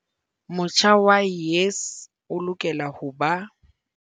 Motjha wa YES o lokela ho ba.